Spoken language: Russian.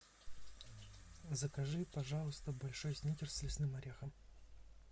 закажи пожалуйста большой сникерс с лесным орехом